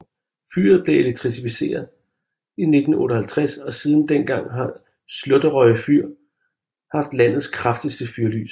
Fyret blev elektrificeret i 1958 og siden den gang har Slåtterøy fyr haft landets kraftigste fyrlys